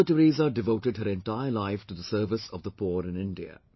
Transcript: Mother Teresa devoted her entire life to the service of the poor in India